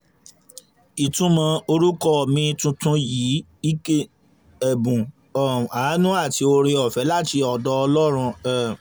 ìtumọ̀ orúkọ mi tuntun yìí ni ike ẹ̀bùn um àánú àti oore-ọ̀fẹ́ láti ọ̀dọ̀ ọlọ́run um